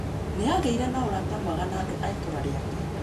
Nĩ aagĩire na ũrata mwega na andũ a itũũra rĩake.